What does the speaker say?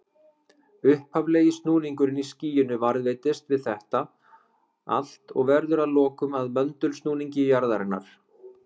Upphaflegi snúningurinn í skýinu varðveitist við þetta allt og verður að lokum að möndulsnúningi jarðarinnar.